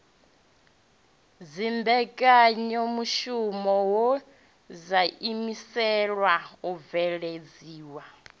dzimbekanyamushumo wo ḓiimisela u bveledzisa